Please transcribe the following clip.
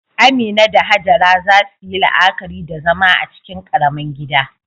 Amina da Hajara za su yi la'akari da zama a cikin ƙaramin gida.